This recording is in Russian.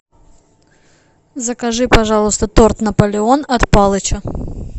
закажи пожалуйста торт наполеон от палыча